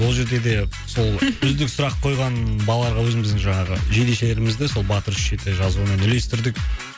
ол жерде де сол үздік сұрақ қойған балаларға өзіміздің жаңағы жейдешелерімізді сол батыр үш жеті жазуымен үлестірдік